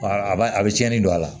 A b'a a bɛ tiɲɛni don a la